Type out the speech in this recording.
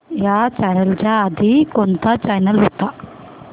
ह्या चॅनल च्या आधी कोणता चॅनल होता